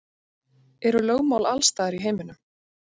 Eru lögmál alls staðar í heiminum?